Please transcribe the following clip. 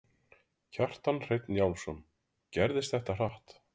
Kjartan Hreinn Njálsson: Gerðist þetta hratt?